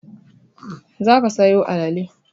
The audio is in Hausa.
Za ka sayo alale!